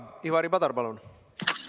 Ivari Padar, palun!